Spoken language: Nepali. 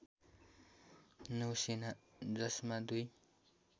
नौसेना जसमा दुई